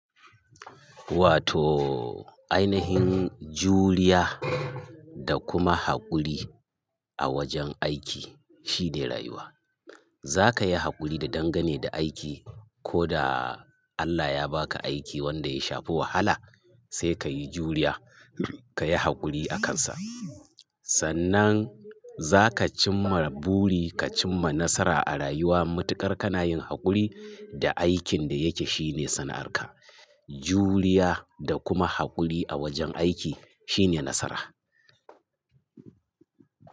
Wato ainihin juriya da kuma haƙuri a wajen aiki shine rayuwa. Zaka yi haƙuri da dangane da aiki. Ko da Allah ya baka aiki wanda ya shafi wahala sai ka yi juriya, ka yi haƙuri a kansa. Sannan za ka cimma buri, ka cimma nasara a rayuwa. Matukar kana yin haƙuri da aikin da yake shine sana'arka. Juriya da kuma haƙuri a wajen aiki shine nasara.